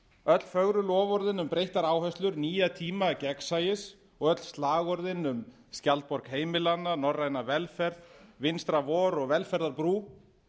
öll fögru loforðin um breyttar áherslur nýja tíma gegnsæis og öll slagorðin um skjaldborg heimilanna norræna velferð vinstra vor og velferðarbrú